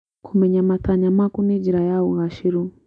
Kũmenya matanya maku nĩ njĩra ya ũgacĩĩru.